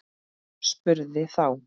Spurði þá